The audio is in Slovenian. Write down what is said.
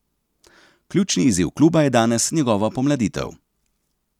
Ključni izziv kluba je danes njegova pomladitev.